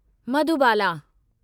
Madhubala